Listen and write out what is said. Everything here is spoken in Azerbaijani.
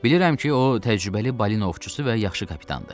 Bilirəm ki, o təcrübəli balina ovçusu və yaxşı kapitandır.